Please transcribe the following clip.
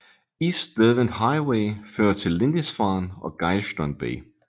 East Derwent Highway fører til Lindisfarne og Geilston Bay